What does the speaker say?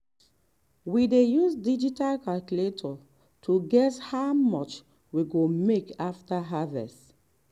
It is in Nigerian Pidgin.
we dey use digital calculator to guess how much we go make after harvest.